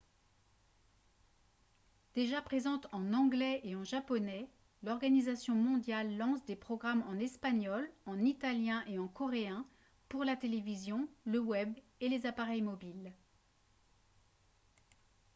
déjà présente en anglais et en japonais l'organisation mondiale lance des programmes en espagnol en italien et en coréen pour la télévision le web et les appareils mobiles